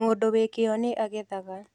Mũndũ wĩ kĩo nĩ agethaga.